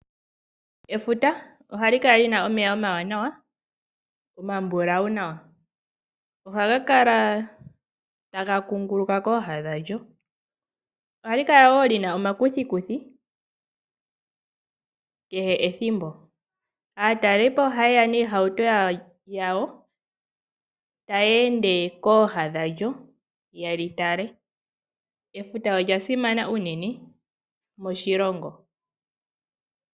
Efuta ohali kala lina omeya omawanawa omambulawu nawa ohaga kala taga kunguluka kooha dhadjo. Ohali kala woo lina omakuthikuthi kehw ethimbo. Aatalelipo ohaye niihauto yawo ta ya ende kooha dhadjo yelitale . Efuta olyasana unene moshilongo.